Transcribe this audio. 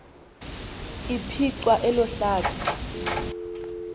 laphicwa elo hlathi